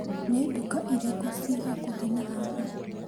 Nĩ nduka irĩkũ ci hakuhĩ na haha?